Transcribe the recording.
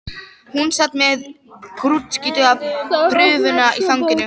Hún sat með grútskítuga prufuna í fanginu.